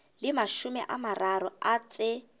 le mashome a mararo tse